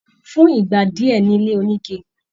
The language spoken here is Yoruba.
Fún ìgbà díẹ ni ilé onike.